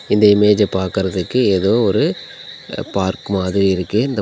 இந்த இமேஜ பாக்குறதுக்கு எதோ ஒரு பார்க் மாதிரி இருக்கு. இந்தப்--